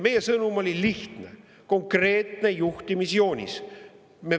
Meie sõnum oli lihtne, konkreetne juhtimisjoonis.